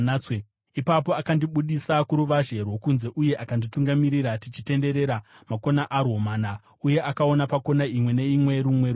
Ipapo akandibudisa kuruvazhe rwokunze uye akanditungamirira tichitenderera makona arwo mana, uye akaona pakona imwe neimwe rumwe ruvazhe.